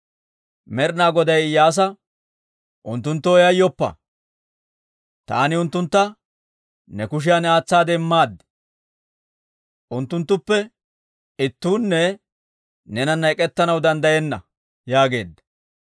Med'ina Goday Iyyaasa, «Unttunttoo yayyoppa! Taani unttuntta ne kushiyan aatsaade immaad. Unttunttuppe ittuunne neenana ek'ettanaw danddayenna» yaageedda.